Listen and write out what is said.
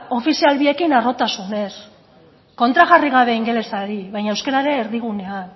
ofizial biekin harrotasunez kontrajarri gabe ingelesari baina euskara ere erdigunean